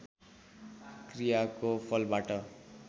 क्रियाको फलबाट